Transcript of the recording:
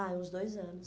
Ah, uns dois anos.